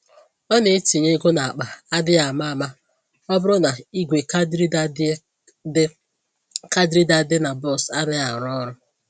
Ọ na-etinye égo n'akpa adịghị àmà-àmà ọbụrụ na ìgwè card reader dị card reader dị na bọs anaghị arụ ọrụ